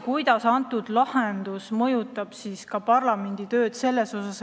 Kuidas võiks see lahendus mõjutada parlamendi tööd?